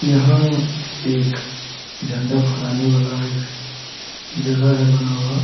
यहाँ एक झंडा फराने वाला एक जगह है बना हुआ ।